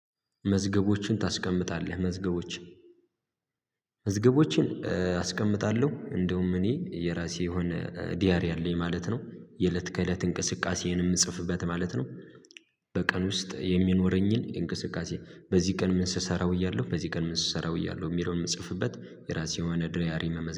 መዝገቦችን ታስቀምጣለህ መዝገቦችን መዝገቦችን አስቀምጣለሁ እንደውም እኔ የራሴ የሆነ ዲያሪ አለኝ ማለት ነው የለት ከለት እንቅስቃሴን የምጽፍበት ማለት ነው። ውስጥ የሚኖረኝን እንቅስቃሴ በዚህ ቀን ምን ስሰራ ውያለሁ በዚህ ቀን ምን ስሰራ ውያለሁ የሚለውን የምጽፍበት የራሴ የሆነ ዲያሪ መመዝ